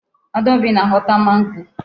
Adaobi na-ahọta mango.